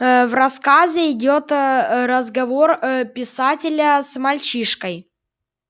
в рассказе идёт ээ разговор ээ писателя с мальчишкой